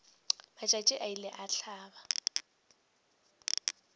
matšatši a ile a hlaba